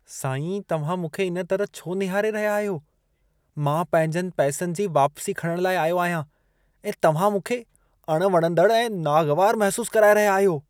साईं, तव्हां मूंखे इन तरह छो निहारे रहिया आहियो? मां पंहिंजनि पैसनि जी वापसी खणणु लाइ आयो आहियां ऐं तव्हां मूंखे अणवणंदड़ु ऐं नागवारु महसूसु कराए रहिया आहियो।